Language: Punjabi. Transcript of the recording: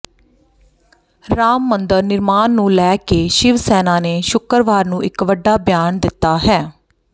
ਰਾਮ ਮੰਦਰ ਨਿਰਮਾਣ ਨੂੰ ਲੈ ਕੇ ਸ਼ਿਵਸੈਨਾ ਨੇ ਸ਼ੁਕਰਵਾਰ ਨੂੰ ਵੱਡਾ ਬਿਆਨ ਦਿੱਤਾ ਹੈ